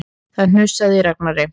Það hnussaði í Ragnari.